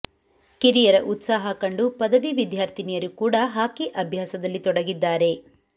ಕಿರಿಯರ ಉತ್ಸಾಹ ಕಂಡು ಪದವಿ ವಿದ್ಯಾರ್ಥಿನಿಯರು ಕೂಡಾ ಹಾಕಿ ಅಭ್ಯಾಸದಲ್ಲಿ ತೊಡಗಿದ್ದಾರೆ